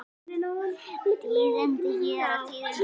Tíðindi hér og tíðindi þar.